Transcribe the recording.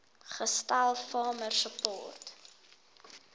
gestel farmer support